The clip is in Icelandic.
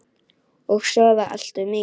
Og sofa allt of mikið.